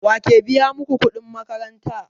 Wake biya maku kuɗin makaranta?